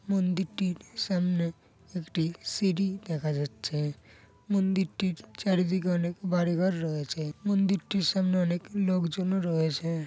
মন্দিরটির সামনে একটি সিড়ি দেখা যাচ্ছে। মন্দিরটির চারিদিকে অনেক বাড়ি ঘর রয়েছে। মন্দিরটির সামনে অনেক লোকজনও রয়েছে।